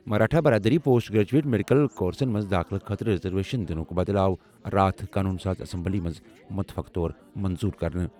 مراٹھا برادٔری post graduate medical کورسن منٛز دٲخلہٕ خٲطرٕ ریزرویشن دِنُک بلہٕ آو راتھ قونوٗن ساز اسمبلی منٛز متفقہٕ طور منظور کرنہٕ۔